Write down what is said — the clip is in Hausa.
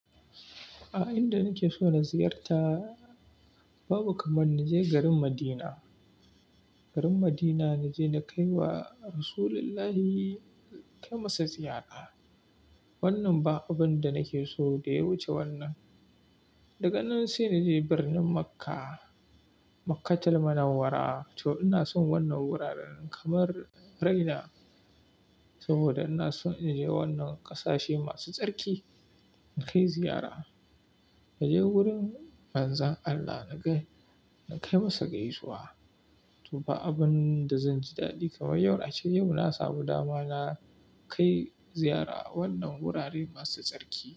A inda nake so na ziyarta babu kamar na je garin Madina. Garin Madina na je na kai wa Rasullullahi kai masa ziyara. Wannan ba abun da nake so da ya wuce wannan. Daga nan sai na je birnin Makka, Makkatul Munawwara. To ina son wannan wuraren kamar raina. Saboda ina so na je wannan ƙasashe masu tsarki in kai ziyara. Na je wurin Manzan Allah na kai na kai masa gaisuwa. To ba abun da zan ji daɗi kamar yau, ace yau na samu dama na kai ziyara wannan wurare masu tsarki.